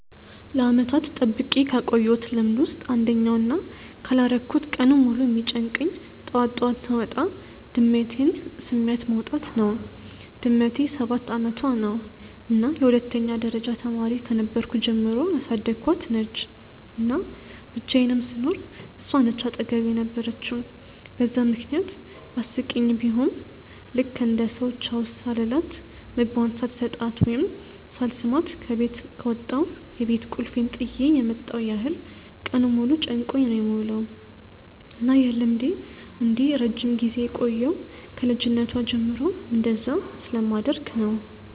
ለዓመታት ጠብቄ ካቆየውት ልምድ ውስጥ አንደኛው እና ካላረኩት ቀኑን ሙሉ የሚጨንቀኝ ጠዋት ጠዋት ስወጣ ድመቴን ስሚያት መውጣት ነው። ድመቴ ሰባት አመቷ ነው እና የሁለተኛ ደረጃ ተማሪ ከነበርኩ ጀምሮ ያሳደኳት ነች፤ እና ብቻየንም ስኖር እሷ ነች አጠገቤ የነበረችው በዛም ምክንያት አስቂኝ ቡሆም ልክ እንደ ሰው ቻው ሳልላት፣ ምግቧን ሳልሰጣት ወይም ሳልስማት ከበት ከወጣው የቤት ቁልፌን ጥየ የመጣው ያህል ቀኑን ሙሉ ጨንቆኝ ነው የምውለው። እና ይህ ልምዴ እንዲህ ረጅም ጊዜ የቆየው ከ ልጅነቷ ጀምሮ እንደዛ ስለማደርግ ነው።